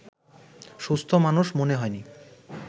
সুস্থ মানুষ মনে হয়নি